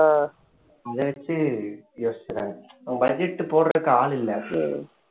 இத வச்சு யோசிச்சுடுறாங்க budget போடுறதுக்கு ஆள் இல்லை